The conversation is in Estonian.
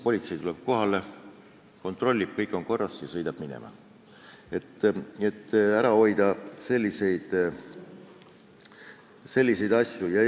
Politsei tuleb kohale ja kontrollib, selgub, et kõik on korras, ja politsei sõidab minema.